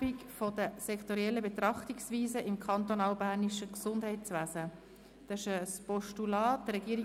Die Regierung ist bereit, dieses Postulat anzunehmen.